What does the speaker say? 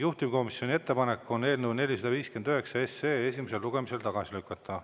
Juhtivkomisjoni ettepanek on eelnõu 459 esimesel lugemisel tagasi lükata.